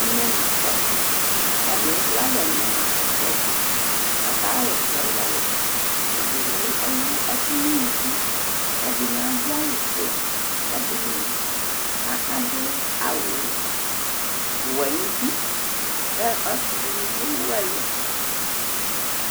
Ataŋi ɛlu alɛ ŋu ɛkplɔɛ tu kʋ aka wɔsɛ walɛ Ɛɖìní ɛwu ɛku ŋu ʋnʋku kʋ ɛɖìní aɖu awu fʋe Ɛɖìní aɖu awu wɛ ŋu ʋti Ɔsi ɖìŋí ni bi ɛwu ɛlu